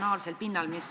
Järgmine on küsimus nr 7.